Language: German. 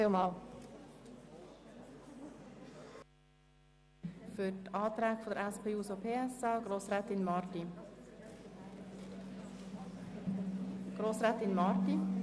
Für die Planungserklärungen der SP-JUSOPSA-Fraktion spricht Grossrätin Marti.